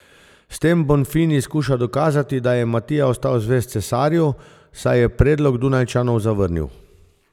S tem Bonfini skuša dokazati, da je Matija ostal zvest cesarju, saj je predlog Dunajčanov zavrnil.